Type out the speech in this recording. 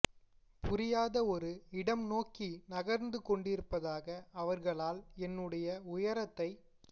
புரியாத ஒரு இடம் நோக்கி நகர்ந்து கொண்டிருப்பதாக அவர்களால் என்னுடைய உயரத்தை